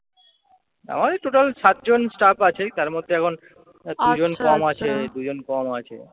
আমাদের total সাতজন staff আছেই তার মধ্যে এখন দুজন কম আছে, দুজন কম আছে।